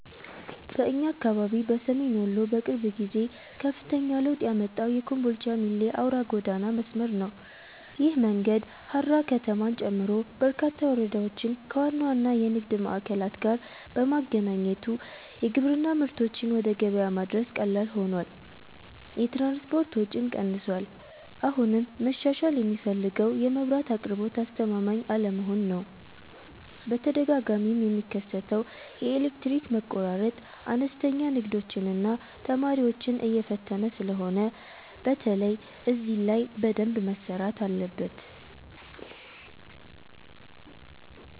በእኛ አካባቢ በሰሜን ወሎ በቅርብ ጊዜ ከፍተኛ ለውጥ ያመጣው የኮምቦልቻ - ሚሌ አውራ ጎዳና መስመር ነው። ይህ መንገድ ሃራ ከተማን ጨምሮ በርካታ ወረዳዎችን ከዋና ዋና የንግድ ማዕከላት ጋር በማገናኘቱ የግብርና ምርቶችን ወደ ገበያ ማድረስ ቀላል ሆኗል፤ የትራንስፖርት ወጪም ቀንሷል። አሁንም መሻሻል የሚፈልገው የመብራት አቅርቦት አስተማማኝ አለመሆን ነው፤ በተደጋጋሚ የሚከሰተው የኤሌክትሪክ መቆራረጥ አነስተኛ ንግዶችንና ተማሪዎችን እየፈተነ ስለሆነ በተለይ እዚህ ላይ በደንብ መሰራት አለበት።